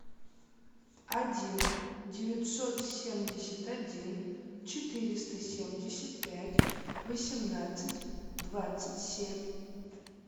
один девятьсот семьдесят один четыреста семьдесят пять восемнадцать двадцать семь